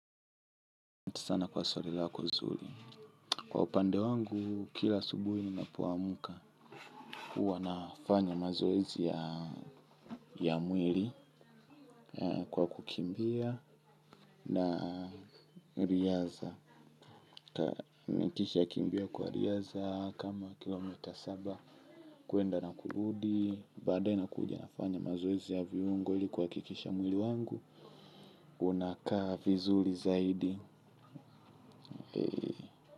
Kwa upande wangu kila asubuhi ninapoamka huwa nafanya mazoezi ya mwili. Kwa kukimbia na riadha nikishakimbia kwa riadha kama kilomita saba kuenda na kuludi baadaye nakuja nafanya mazoezi ya viungo ili kuhakikisha mwili wangu unakaa vizuli zaidi.